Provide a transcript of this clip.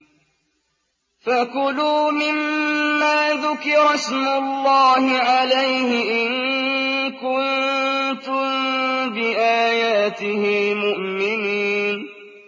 فَكُلُوا مِمَّا ذُكِرَ اسْمُ اللَّهِ عَلَيْهِ إِن كُنتُم بِآيَاتِهِ مُؤْمِنِينَ